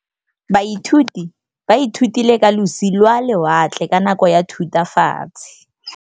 Baithuti ba ithutile ka losi lwa lewatle ka nako ya Thutafatshe.